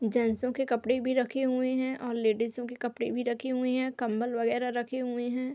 जेनसों के कपड़े भी रखे हुए हैं और लेडीजो के कपड़े भी रखे हुए हैं। कंबल वगेरा रखे हुए हैं।